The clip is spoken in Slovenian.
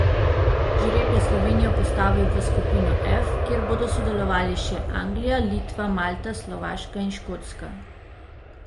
Žreb je Slovenijo postavil v skupino F, kjer bodo sodelovali še Anglija, Litva, Malta, Slovaška in Škotska.